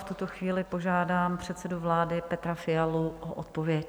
V tuto chvíli požádám předsedu vlády Petra Fialu o odpověď.